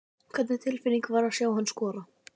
Hvernig var tilfinningin að sjá hann skora?